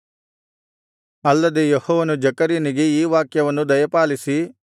ಅಲ್ಲದೆ ಯೆಹೋವನು ಜೆಕರ್ಯನಿಗೆ ಈ ವಾಕ್ಯವನ್ನು ದಯಪಾಲಿಸಿ